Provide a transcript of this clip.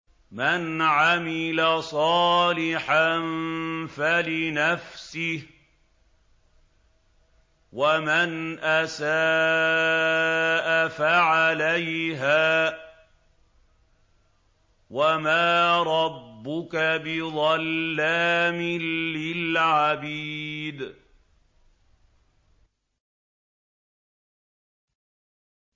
مَّنْ عَمِلَ صَالِحًا فَلِنَفْسِهِ ۖ وَمَنْ أَسَاءَ فَعَلَيْهَا ۗ وَمَا رَبُّكَ بِظَلَّامٍ لِّلْعَبِيدِ